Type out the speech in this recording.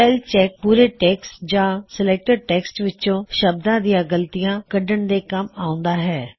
spell check ਪੂਰੇ text ਜਾਂ selected text ਵਿਚੋਂ ਸ਼ਬਦਾ ਦੀਆਂ ਗਲਤੀਆਂ ਕੱਢਣ ਦੇ ਕੱਮ ਆਉਂਦਾ ਹੈ